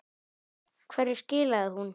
Hverju skilaði hún?